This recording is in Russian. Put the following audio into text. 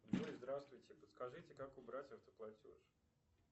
джой здравствуйте подскажите как убрать автоплатеж